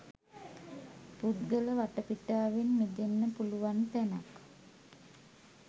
පුද්ගල වටපිටාවෙන් මිදෙන්න පුළුවන් තැනක්.